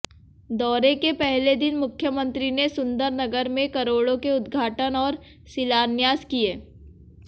दौरे के पहले दिन मुख्यमंत्री ने सुंदरनगर में करोड़ों के उद्घाटन और शिलान्यास किए